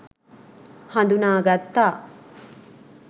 හඳුනා ගත්තා.